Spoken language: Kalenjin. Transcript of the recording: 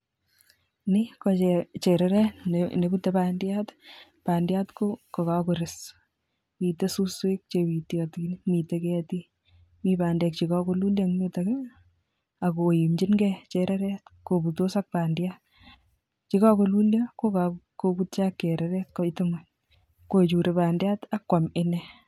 Nii ko chereret nebute bandiat, bandiat ko kokores, miten suswek chebitiotin, miten ketik, mii bandek chekokolulyo en yutok ak koimching'e chereret kobutos ak bandiat, yekokolulyo ko kokobutyo ak chereret koitu ngweny kochure bandiat akwam inee.